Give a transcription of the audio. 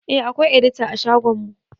Eh akwai edita a shagon mu